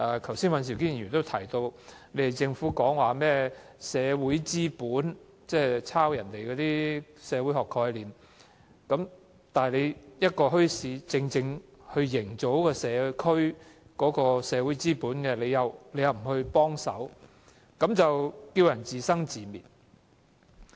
剛才尹兆堅議員也提到，政府提及甚麼社會資本，即抄襲別人的社會學概念，而墟市正可營造社區的社會資本，但政府卻不幫忙，讓市民自生自滅。